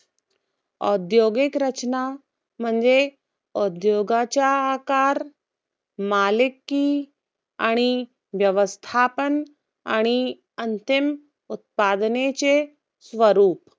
औद्योगिकरचना म्हणजे, उद्योगाचा आकार मलिकी आणि व्यवस्थापन आणि अंतिम उत्पादनांचे स्वरूप.